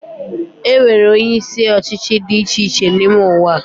Enwere onyeisi ọchịchị dị icheiche n’ime ụwa